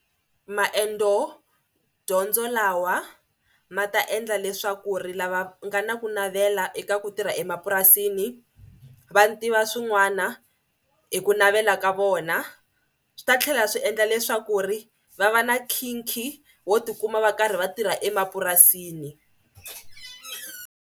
Maendzodyondzo lawa ma ta endla leswaku ri lava nga na ku navela eka ku tirha emapurasini va tiva swin'wana hi ku navela ka vona. Swi ta tlhela swi endla leswaku ri va va na nkhinkhi wo tikuma va karhi va tirha emapurasini.